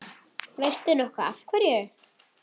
Veistu nokkuð af hverju?